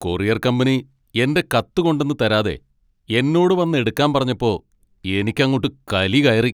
Courier company എൻ്റെ കത്ത് കൊണ്ടന്ന് തരാതെ എന്നോട് വന്ന് എടുക്കാൻ പറഞ്ഞപ്പോൾ എനിക്കങ്ങോട്ട് കലി കയറി.